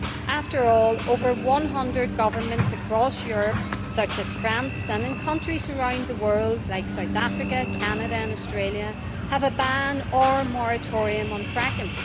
After all, over 100 governments across Europe, such as France, and countries around the world like South Africa, Canada and Australia have a ban or moratorium on fracking.